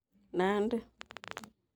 Nandi